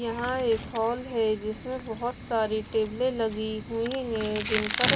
यहां एक हॉल है जिसमें बहोत सारी टेबलें लगी हुई हैं जिन पर--